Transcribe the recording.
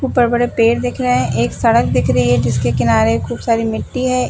ऊपर बड़े पेड़ दिख रहे हैं एक सड़क दिख रही हैं जिसके किनारे खूब सारी मिट्टी हैं।